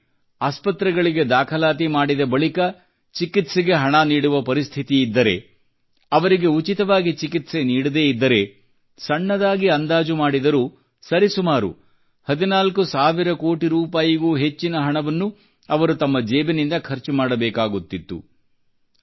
ಒಂದೊಮ್ಮೆ ಆಸ್ಪತ್ರೆಗಳಿಗೆ ದಾಖಲಾತಿ ಮಾಡಿದ ಬಳಿಕ ಚಿಕಿತ್ಸೆಗೆ ಹಣ ನೀಡುವ ಪರಿಸ್ಥಿತಿಯಿದ್ದರೆ ಅವರಿಗೆ ಉಚಿತವಾಗಿ ಚಿಕಿತ್ಸೆ ನೀಡದೆ ಇದ್ದರೆ ಸಣ್ಣದಾಗಿ ಅಂದಾಜು ಮಾಡಿದರೂ ಸರಿಸುಮಾರು 14 ಸಾವಿರ ಕೋಟಿ ರೂಪಾಯಿಗೂ ಹೆಚ್ಚಿನ ಹಣವನ್ನು ಅವರು ತಮ್ಮ ಜೇಬಿನಿಂದ ಖರ್ಚು ಮಾಡಬೇಕಾಗುತ್ತಿತ್ತು